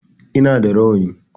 E, ina da rawani.